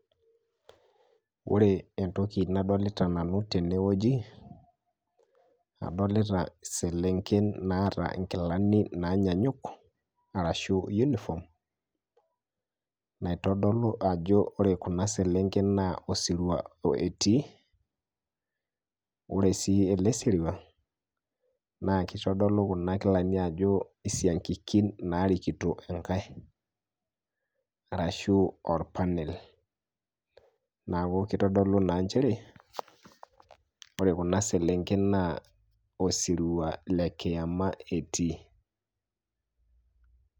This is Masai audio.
Ore entoki nadolita nanu tene wueji, adolita selenken naata nkilani naanyanyuk arashu uniform, naitodolu ajo ore kuna selenken naa osirua etii. Ore sii ele sirua naa kitodolu kuna kilani ajo isiankikin narikito enkae arashu or panel. Naaku kitodolu naa njere ore kuna selenken naa osirua le kiama etii.